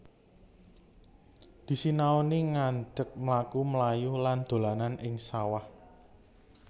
Disinauni ngadek mlaku mlayu lan dolanan ing sawah